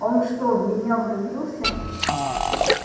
он что в меня влюбился